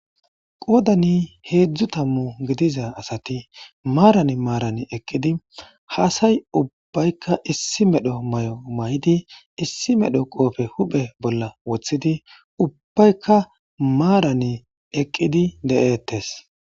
qoodani heedzdzu tammu gidiza asati maaran maaran eqqidi haasay ubbbaykka issi medho mayo may'di issi medho qoofe huphe bolla woththidi ubbaykka maarani eqqidi de'eettes